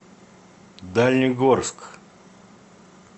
дальнегорск